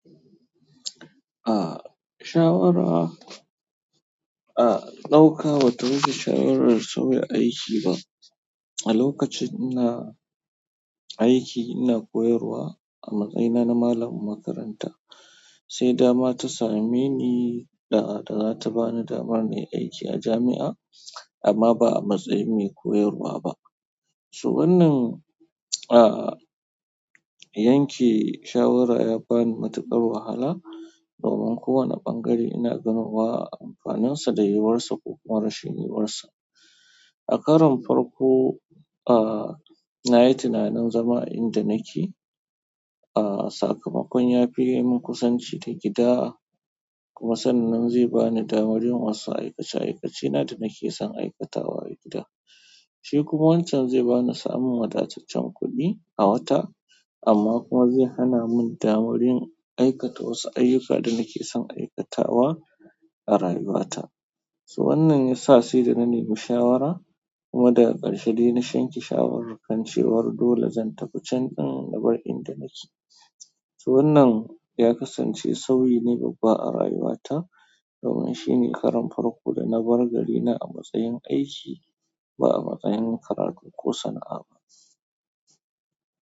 Ah, shawara, ah, ɗauka ba ta rage shawarar sauya aiki ba. A lokacin ina aiki ina koyarwa a matsayina na malamin makaranta. Sai dama ta same ni da, da za ta ba ni damar na yi aiki a jami'a amma ba a matsayin mai koyarwa ba. So wannan, ah, yanke shawara ya bani matuƙar wahala domin kowane ɓangare ina ganowa amfaninsa da yiwar sa ko kuma rashin yiwar sa. A karon farko, ah, na yi tunanin zama a inda nake, ah, sakamakon ya fi ye min kusanci da gida kuma san nan zai ba ni damar yin wasu aikace-aikacena da nake son aikatawa a gida. Shi kuma wancan zai ba ni samun wadataccen kuɗi a wata amma kuma zai hana min damar yin aikata wasu ayyuka da nake son aikatawa a rayuwata. So wannan ya sa sai da na nemi shawara kuma daga ƙarshe dai na shanci shawarar kashewar dole zan tafi candin na bar inda nake. So wannan ya kasance sauyi ne babba a rayuwata domin shi ne karon farko da na bar garina a matsayin aiki ba a matsayin karatu ko sana'a ba.